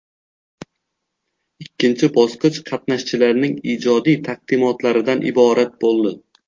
Ikkinchi bosqich qatnashchilarning ijodiy taqdimotlaridan iborat bo‘ldi.